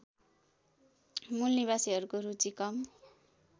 मूलनिवासीहरूको रुचि कम